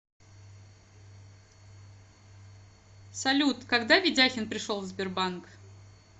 салют когда ведяхин пришел в сбербанк